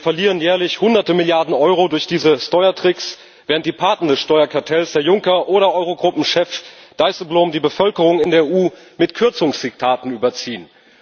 Wir verlieren jährlich bis zu Hunderte Milliarden Euro durch diese Steuertricks, während die Paten des Steuerkartells, Herr Juncker oder Eurogruppenchef Dijsselbloem, die Bevölkerung in der EU mit Kürzungsdiktaten überziehen.